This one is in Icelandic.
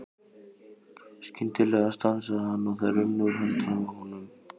Skyndilega stansaði hann og þær runnu úr höndunum á honum.